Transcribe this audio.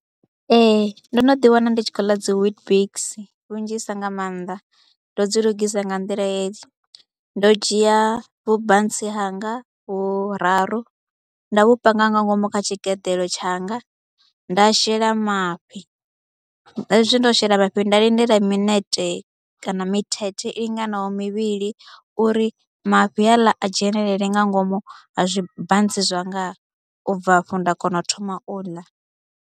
Ee ndo no ḓiwana ndi tshi khou ḽa dzi Weetbix lunzhisa nga maanḓa, ndo dzi lugisa nga nḓila hedzi, ndo dzhia vhubantsi hanga vhuraru nda vhu panga nga ngomu kha tshigeḓeḽo tshanga, nda shela mafhi, hezwi ndo shela mafhi nda lindela minete kana mithethe i linganaho mivhili uri mafhi haaḽa a dzhenelele nga ngomu ha zwibantsi zwanga u bva afho nda kona u thoma u ḽa.